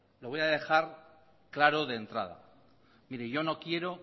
lo voy a dejar claro de entrada mire yo no quiero